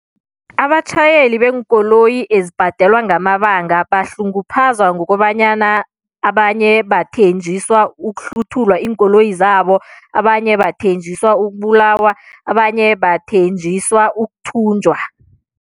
Abatjhayeli beenkoloyi ezibhadelwa ngamabanga bahlunguphazwa ngokobanyana abanye bathenjiswa ukuhluthulwa iinkoloyi zabo, abanye bathenjiswa ukubulawa, abanye bathenjiswa ukuthunjwa.